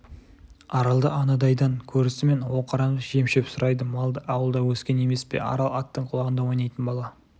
аралды анадайдан көрісімен оқыранып жем-шөп сұрайды малды ауылда өскен емес пе арал аттың құлағында ойнайтын бала